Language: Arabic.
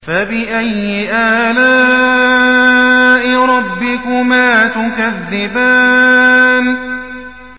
فَبِأَيِّ آلَاءِ رَبِّكُمَا تُكَذِّبَانِ